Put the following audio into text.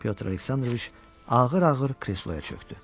Pyotr Aleksandroviç ağır-ağır kresloya çöktü.